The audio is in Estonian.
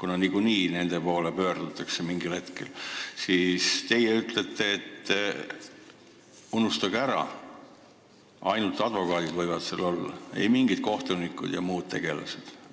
kuna niikuinii kohtunike poole mingil hetkel pöördutakse, ütlete teie, et unustage ära, ainult advokaadid võivad seal olla, ei mingid kohtunikud ega muud tegelased.